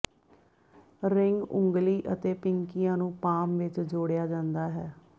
ring ਉਂਗਲੀ ਅਤੇ ਪਿੰਕੀਆਂ ਨੂੰ ਪਾਮ ਵਿਚ ਜੋੜਿਆ ਜਾਂਦਾ ਹੈ